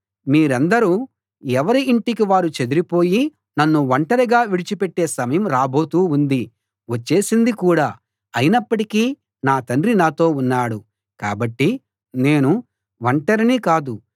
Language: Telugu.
మీరందరూ ఎవరి ఇంటికి వారు చెదరిపోయి నన్ను ఒంటరిగా విడిచిపెట్టే సమయం రాబోతూ ఉంది వచ్చేసింది కూడా అయినప్పటికీ నా తండ్రి నాతో ఉన్నాడు కాబట్టి నేను ఒంటరిని కాదు